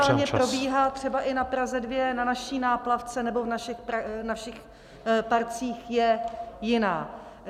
... která momentálně probíhá třeba i na Praze 2 na naší náplavce nebo v našich parcích, je jiná.